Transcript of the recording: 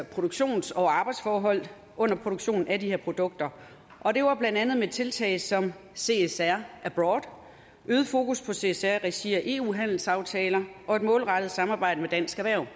produktions og arbejdsforhold under produktionen af de her produkter og det var blandt andet tiltag som csr abroad øget fokus på csr i regi af eu handelsaftaler og et målrettet samarbejde med dansk erhverv